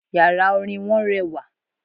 Yàrá Orin wọn rewà